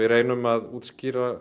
reynum að útskýra